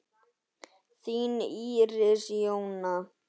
Þín Íris Jóna.